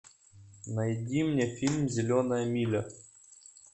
найди мне фильм зеленая миля